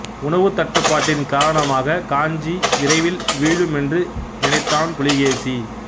உணவு தட்டுப்பாட்டின் காரணமாகக் காஞ்சி விரைவில் வீழும் என்று நினைத்தான் புலிகேசி